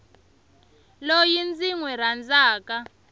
loyi ndzi n wi rhandzaka